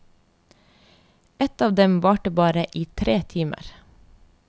Et av dem varte bare i tre timer.